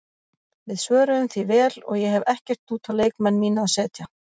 Við svöruðum því vel og ég hef ekkert út á leikmenn mína að setja.